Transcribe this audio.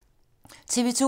TV 2